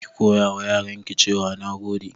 Ki koyawa yaranki cewa "Nagode"